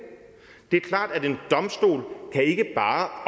det er klart at en domstol ikke bare